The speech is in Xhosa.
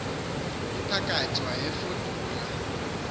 mphakathi wayefudula engumfo